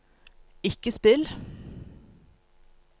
ikke spill